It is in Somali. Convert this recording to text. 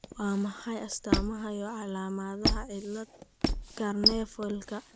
Waa maxay astamaha iyo calaamadaha cilada Carnevalka?